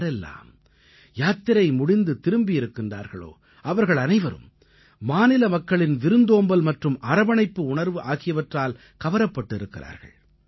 யாரெல்லாம் யாத்திரை முடித்து திரும்பியிருக்கிறார்களோ அவர்களனைவரும் மாநில மக்களின் விருந்தோம்பல் மற்றும் அரவணைப்பு உணர்வு ஆகியவற்றால் கவரப்பட்டு இருக்கிறார்கள்